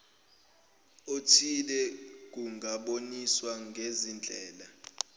othile kungaboniswa ngezindlela